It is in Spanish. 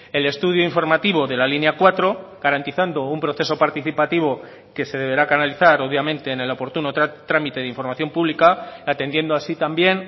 el estudio informativo de la línea cuatro garantizando un proceso participativo que se deberá canalizar obviamente en el oportuno trámite de información pública atendiendo así también